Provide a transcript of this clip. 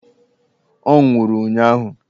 Ọ nwụrụ ụnyụahụ!